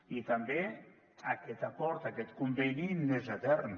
i també aquest acord aquest conveni no és etern